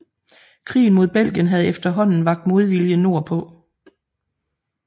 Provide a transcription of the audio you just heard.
Krigen mod Belgien havde efterhåanden vakt modvilje nord på